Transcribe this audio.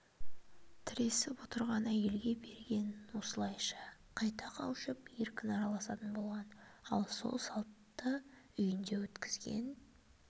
тіресіп отырған әйелге берген осылайша қайта қауышып еркін араласатын болған ал сол салтты үйінде өткізген